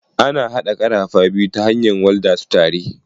Ana haɗa karafa biyu ta hanyar walda su tare.